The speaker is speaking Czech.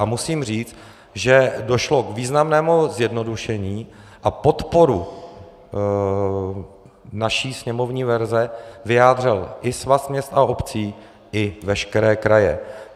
A musím říct, že došlo k významnému zjednodušení a podporu naší sněmovní verze vyjádřil i Svaz měst a obcí i veškeré kraje.